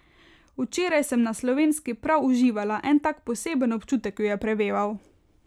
Včeraj sem na Slovenski prav uživala, en tak poseben občutek jo je preveval.